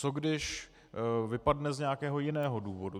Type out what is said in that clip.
Co když vypadne z nějakého jiného důvodu?